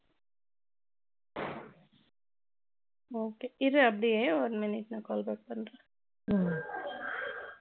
Okay இரு அப்படியே one minute நான் நான் call back பண்றேன் ம்ம்